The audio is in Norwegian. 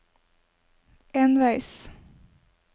enveis